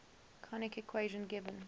conic equation given